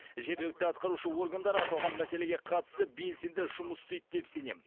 жергілікті атқарушы органдар аталған мәселеге қатысты белсенді жұмыс істейді деп сенем